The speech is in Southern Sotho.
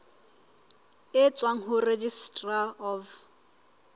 e tswang ho registrar of